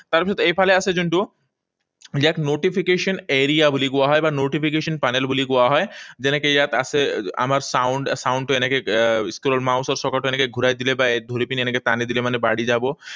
তাৰপিছত এইফালে আছে যোনটো ইয়াক notification area বুলি কোৱা হয় বা notification panel বুলি কোৱা হয়। যেনেকৈ ইয়াত আছে আমাৰ sound, sound টো এনেকৈ আহ scroller, mouse ৰ চকাটো এনেকৈ ঘূৰাই দিলে বা ধৰি পিনি এনেকৈ টানি দিলে মানে বাঢ়ি যাব।